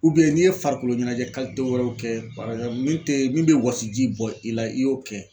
n'i ye farikolo ɲɛnajɛ wɛrɛw kɛ min tɛ min bɛ wɔsiji bɔ i la i y'o kɛ.